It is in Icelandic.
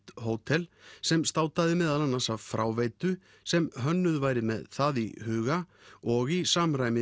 hótel sem státaði meðal annars af fráveitu sem hönnuð væri með það í huga og í samræmi